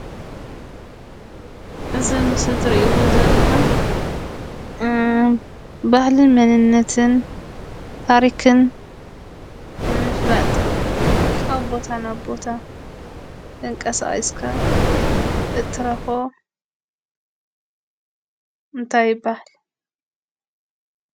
እዚ ኣብ ምስሊ ትሪእዎ ዘለኹም እ ባህልን መንነትን ታሪክን ንምፍላጥ ካብ ቦታ ናብ ቦታ ተንቀሳቂስካ እትረኽቦ እንታይ ይበሃል?